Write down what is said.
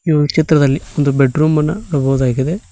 ಈ ಚಿತ್ರದಲ್ಲಿ ಒಂದು ಬೆಡ್ರೂಮ್ ಅನ್ನ ನೋಡ್ಬೋದಾಗಿದೆ.